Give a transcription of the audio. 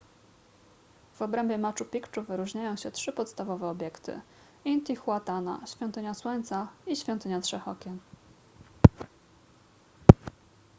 w obrębie machu picchu wyróżniają się trzy podstawowe obiekty intihuatana świątynia słońca i świątynia trzech okien